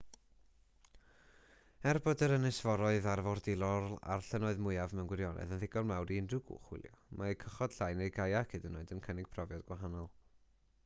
er bod yr ynysforoedd arfordirol a'r llynnoedd mwyaf mewn gwirionedd yn ddigon mawr i unrhyw gwch hwylio mae cychod llai neu gaiac hyd yn oed yn cynnig profiad gwahanol